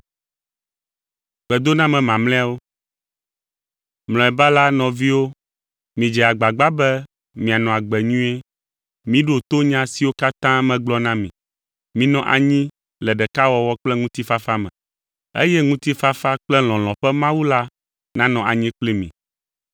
Mlɔeba la, nɔviwo, midze agba be mianɔ agbe nyuie. Miɖo to nya siwo katã megblɔ na mi. Minɔ anyi le ɖekawɔwɔ kple ŋutifafa me, eye ŋutifafa kple lɔlɔ̃ ƒe Mawu la nanɔ anyi kpli mi.